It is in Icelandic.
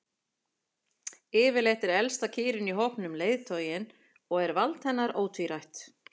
Yfirleitt er elsta kýrin í hópnum leiðtoginn og er vald hennar ótvírætt.